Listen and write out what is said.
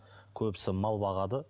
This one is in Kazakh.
көбісі мал бағады